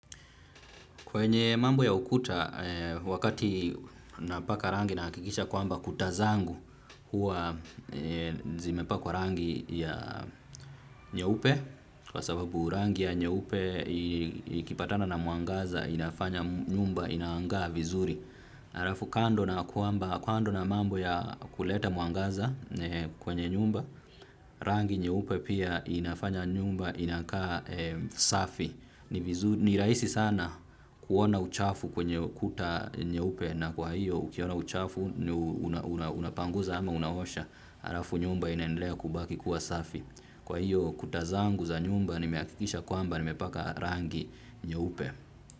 Kwenye mambo ya ukuta wakati napaka rangi naakikisha kwamba kuta zangu huwa zimepakwa rangi ya nyeupe kwa sababu rangi ya nyeupe ikipatana na mwangaza inafanya nyumba inaangaa vizuri. Arafu kando na mambo ya kuleta mwangaza kwenye nyumba, rangi nyeupe pia inafanya nyumba inakaa safi. Ni raisi sana kuona uchafu kwenye ukuta nyeupe na kwa hiyo ukiona uchafu unapanguza ama unaosha. Arafu nyumba inaendelea kubaki kuwa safi. Kwa hiyo kutazangu za nyumba nimeakikisha kwamba nimepaka rangi nyeupe.